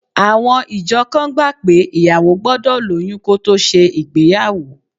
Àwọn ìjọ kan gbà pé ìyàwó gbọ́dọ̀ lóyún kó tó ṣe ìgbéyàwó